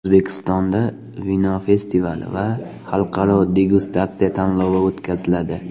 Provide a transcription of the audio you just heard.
O‘zbekistonda vino festivali va xalqaro degustatsiya tanlovi o‘tkaziladi.